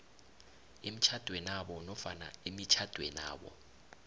emtjhadwenabo nofana emitjhadwenabo